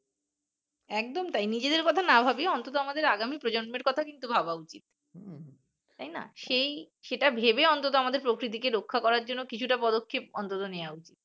একদম তাই নিজেদের কথা না ভাবি অন্তত আমাদের আগামীর প্রজন্মের কথা কিন্তু ভাবা উচিৎ তাই না সেই সেটা ভেবে অন্তত আমাদের প্রকৃতি কে রক্ষা করার জন্য কিছু টা পদক্ষেপ অন্তত নেয়া উচিৎ